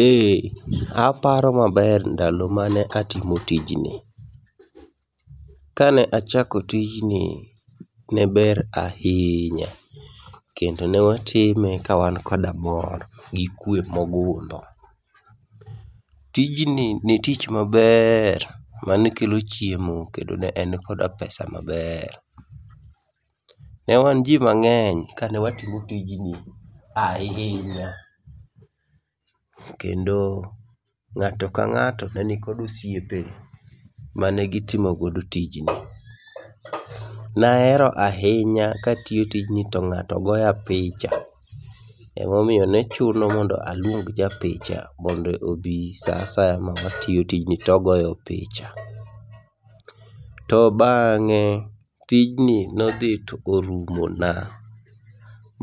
Ee, aparo maber ndalo mane atimo tijni. Kane achako tijni ne ber ahinya kendo newatime kawan koda mor gi kwe mogundho. Tijni ni tich maber manekelo chiemo kendo ne en koda pesa maber. Ne wan ji mang'eny kawatimo tijni ahinya, kendo ng'ato ka ng'ato ne nikod osiepe mane gitomogodo tijni. Nahero ahinya katiyo tijni to ng'ato goya picha, emomiyo ne chuno mondo aluong ja picha mondo obi sa asaya ma watiyo tijni togoyo picha. To bang'e tijni nodhi to orumona,